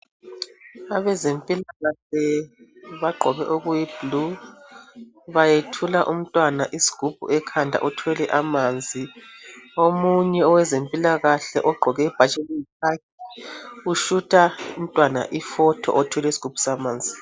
Abazempilakahle bagqoke okuyi bhulu bayethula umntwana isigubhu ekhanda uthwele amanzi omunye owezempilakahle ogqoke ibhatshi eliyi khakhi ishuta umntwana ifoto othwele amanzi.